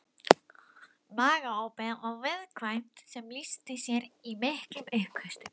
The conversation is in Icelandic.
Magaopið var viðkvæmt sem lýsti sér í miklum uppköstum.